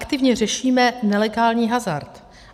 Aktivně řešíme nelegální hazard.